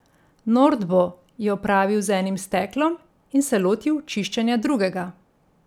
Nordbo je opravil z enim steklom in se lotil čiščenja drugega.